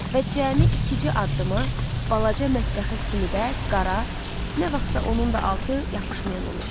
Və cəmi ikicə addıma balaca mətbəxə kimi də qara nə vaxtsa onun da altı yapışmayan olub.